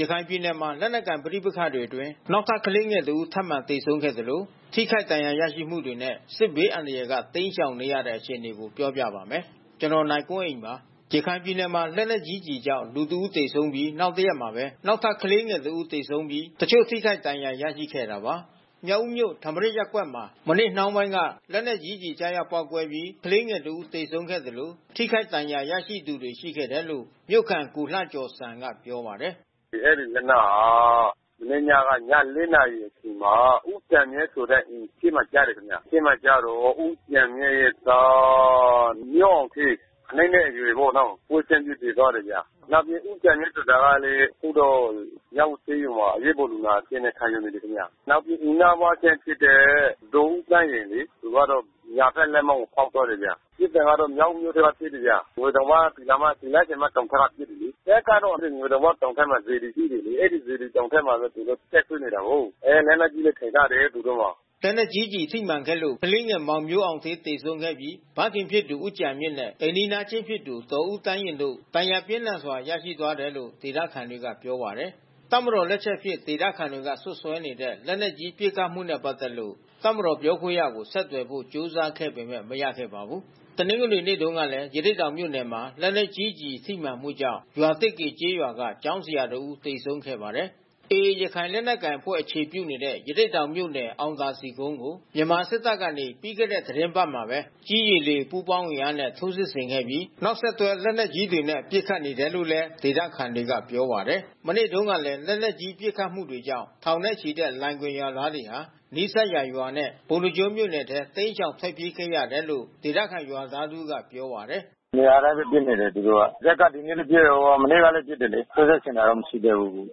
ရခိုင်ပြည်နယ်မှာ လက်နက်ကိုင်ပဋိပက္ခတွေအတွင်း နောက်ထပ် ကလေးငယ်တဦးထပ်မံ သေဆုံးခဲ့သလို ထိခိုက်ဒဏ်ရာရမှုတွေနဲ့ စစ်ဘေးအန္တရာယ်က တိမ်းရှောင်နေရတဲ့ အခြေအနေကို ပြောပြပါမယ်။ ဗွီအိုအေမြန်မာပိုင်းသတင်းထောက် ကိုနိုင်ကွန်းအိန်က သတင်းပေးပို့ထားပါတယ်။ ရခိုင်ပြည်နယ်မှာ လက်နက်ကြီးကျည်ကြောင့် လူ ၁ ဦး သေဆုံးပြီး နောက်တရက်မှာပဲ နောက်ထပ် ကလေးငယ်တဦး သေဆုံးပြီး တချို့ထိခိုက်ဒဏ်ရာ ရခဲ့တာပါ။ မြောက်ဦးမြို့၊ ထမရာဇ်ရပ်ကွက်မှာ မနေ့နှောင်းပိုင်းက လက်နက်ကြီးကျည်ကျရောက် ပေါက်ကွဲပြီး ကလေးငယ်တစ်ဦးသေဆုံးခဲ့သလို ထိခိုက်ဒဏ်ရာရရှိသူတွေ ရှိခဲ့တယ်လို့ မြို့ခံ ကိုလှကျော်စံက ပြောပါတယ်။ “အဲဒီလက်နက်ဟာ မနေ့ညက ည ၄ နာရီအချိန်မှာ ဦးကျန်မြင့်အိမ်အရှေ့မှာ ကျတယ်ခင်ဗျာ။ အရှေ့မှာကျတာ့ ဦးကျန်မြင့်ရဲ့သား မျိုးအောင်ဌေး ၇ နှစ်အရွယ်ပေါ့နော်။ ပွဲချင်းပြီးသေသွားတယ်ဗျ။ နောက်ပြီး ဦးကျန်မြင့်ဆိုတာကလည်း အခုတော့မြောက်ဦးဆေးရုံမှာ အရေးပေါ်လူနာအဖြစ်နဲ့ ခံယူနေတယ်ခင်ဗျ။ နောက်ပြီးအိမ်နီးနားချင်းဖြစ်တဲ့ ဒေါ်ဦးသန်းယဉ်လေ။ သူကတော့ ညာဘက်လက်မောင်းကို ဖေါက်သွားတယ်ခင်ဗျ။ ပစ်တာကတော့မြောက်ဦးမြို့ထဲက ပစ်တယ်ခင်ဗျ။ ငွေတောင်ပေါက် သူတော်မတောင်ဘက်က ပစ်တယ်လေ။ တပ်ကတော့ ငွေတောင်ပေါက်ဘက်မှာ စေတီရှိတယ်လေ။ အဲဒီစေတီတောင်ဘက်မှာသူတို့ တပ်စွဲနေတာကိုး။ အဲ လက်နက်ကြီးလည်း အထိုင်ချတယ်သူတို့မှာ။” လက်နက်ကြီးကျည်ထိမှန်ခဲ့လို့ ကလေးငယ်မောင်မျိုးအောင်ဌေး သေဆုံးခဲ့ပြီး ဖခင်ဖြစ်သူ ဦးကျန်မြင့်နဲ့ အိမ်နီးချင်း ဖြစ်သူ ဒေါ်ဦးသန်းယဉ်တို့ ဒဏ်ရာပြင်းထန်စွာ ရရှိသွားတယ်လို့ ဒေသခံတွေကပြောပါတယ်။ တပ်မတော် လက်ချက်အဖြစ် ဒေသခံတွေက စွပ်စွဲနေတဲ့ လက်နက်ကြီး ပစ်ခတ်မှုနဲ့ ပတ်သက်လို့ တပ်မတော်ပြောခွင့်ရသူကို ဆက်သွယ်ဖို့ ကြိုးစားခဲ့ပေမဲ့ မရခဲ့ပါဘူး။ တနင်္ဂနွေနေ့မှာတုန်းကလည်း ရသေ့တောင်မြို့နယ်မှာ လက်နက်ကြီးကျည်ထိမှန်မှုကြောင့် ရွာသစ်ကေကျေးရွာက ကျောင်းဆရာတဦး သေဆုံးသွားခဲ့ပါတယ်။ AA ရခိုင်လက်နက်ကိုင်အဖွဲ့အခြေပြုနေတဲ့ ရသေ့တောင်မြို့နယ် အောင်သာစည်ကုန်းကို မြန်မာစစ်တပ်ကနေ ပြီးခဲ့တဲ့ သီတင်းပတ်ထဲမှာပဲ ကြည်း၊ ရေ၊ လေ ပူးပေါင်းအင်အားနဲ့ထိုးစစ်ဆင်ခဲ့ပြီး နောက်ဆက်တွဲ လက်နက်ကြီးတွေနဲ့ ပစ်ခတ်နေတယ်လို့လည်း ဒေသခံတွေက ပြောပါတယ်။ မနေ့တုန်းကလည်း လက်နက်ကြီး ပစ်ခတ်မှုတွေကြောင့် ထောင်ချီတဲ့လိုင်ဂွင်ရွာသားတွေဟာ နီးစပ်ရာရွာနဲ့ ပုဏ္ဏားကျွန်း မြို့နယ်ထဲ တိမ်းရှောင် ထွက်ပြေးခဲ့ရတယ်လို့ ဒေသခံရွာသားတဦးကပြောပါတယ်။ “နေရာတိုင်းပဲ ပစ်နေတယ်သူတို့က။ ဇက်က ဒီနေ့လည်း ပစ် မနေ့ကလည်း ပစ်တယ်လေ။ ထိုးစစ်ဆင်တာတော့ မရှိသေးဘူး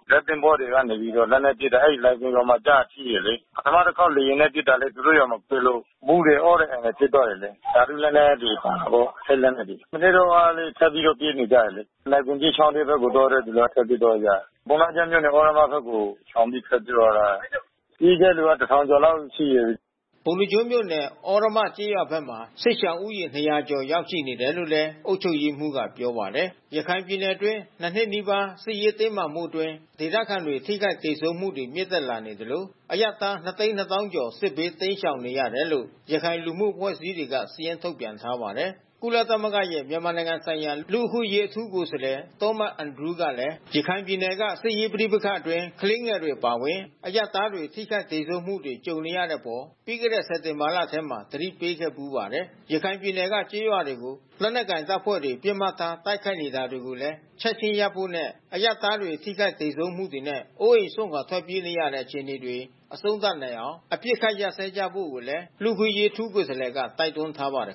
။ ဇက်သင်္ဘောကနေပြီးတော့ လက်နက်ပစ်တယ်။ အဲဒီလိုင်ဂွင်ရွာမှာကို ထိတယ်လေ။ ပထမတခေါက်လေယာဉ်နဲ့ ပစ်လို့ သူတို့ရွာမှာ ပစ်လို့ မူးတယ်၊ အော့တယ်၊ အန်တယ်ဖြစ်သွားတယ်လေ။ ဓါတုလက်နက်တွေ ပါလို့ ထိတ်လန့်တယ်လေ။ မနေ့တုန်းကလည်း ထပ်ပြီးတော့ပြေးနေကြတယ်လေ။ လိုင်ဂွင်ကြီးချောင်းဘက်ကို သွားတဲ့သူထွက်ပြေးသွားကြတယ်။ ပုဏ္ဏားကျွန်းမြို့နယ် သြရမဘက်ကို ရှောင်ပြီးထွက်ပြေးသွားကြတာ။ ပြေးတဲ့သူက ၁,၀၀၀ ကျော်လောက်ရှိတယ်။” ပုဏ္ဏားကျွန်းမြို့နယ် သြရမကျေးရွာဘက်မှာ စစ်ရှောင်ဦးရေ ၂၀၀ ကျော်ရောက်ရှိနေတယ်လို့ အုပ်ချုပ်ရေးမှူးက ပြောပါတယ်။ ရခိုင်ပြည်နယ်အတွင်း နှစ်နှစ်နီးပါး စစ်ရေးတင်းမာမှုအတွင်း ဒေသခံတွေ ထိခိုက်သေဆုံးမှုတွေမြင့်တက်လာနေသလို အရပ်သား ၂၂၀,၀၀၀ ကျော် စစ်ဘေးတိမ်းရှောင်နေရတယ်လို့ ရခိုင်လူမှုအဖွဲ့အစည်းတွေက စာရင်းထုတ်ပြန်ထားပါတယ်။ ကုလသမဂ္ဂရဲ့ မြန်မာနိုင်ငံဆိုင်ရာ လူ့အခွင့်အရေး အထူးကိုယ်စားလှယ် Thomas Andrews ကလည်း ရခိုင်ပြည်နယ်က စစ်ရေးပဋိပက္ခအတွင်း ကလေးငယ်တွေ အပါအဝင် အရပ်သားတွေ ထိခိုက်သေဆုံးမှုတွေ ကြုံနေရတဲ့အပေါ် ပြီးခဲ့တဲ့ စက်တင်ဘာလထဲမှာပဲ သတိပေးခဲ့ဖူးပါတယ်။ ရခိုင်ပြည်နယ်က ကျေးရွာတွေကို လက်နက်ကိုင်တပ်ဖွဲ့တွေ ပစ်မှတ်ထား တိုက်ခိုက်နေတာတွေကိုလည်း ချက်ခြင်းရပ်ဖို့နဲ့ အရပ်သား ထိခိုက်သေဆုံးမှုတွေနဲ့ အိုးအိမ်စွန့်ခွာ ထွက်ပြေးနေရတဲ့ အခြေအနေတွေ အဆုံးသတ်နိုင်အောင် အပစ်အခတ် ရပ်စွဲကြဖို့လည်း လူ့အခွင့်အရေး အထူးကိုယ်စားလှယ်က တိုက်တွန်းထားပါတယ်